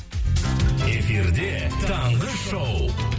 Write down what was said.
эфирде таңғы шоу